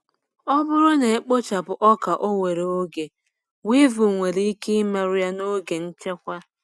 Ọ bụrụ na a kpochapụ ọka owere oge, weevil nwere ike imerụ ya n’oge nchekwa.